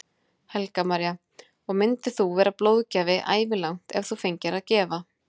Helga María: Og myndir þú vera blóðgjafi ævilangt ef þú fengir að gefa?